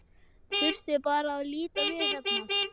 Þurfti bara að líta við hérna.